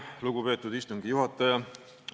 Lugupeetud istungi juhataja!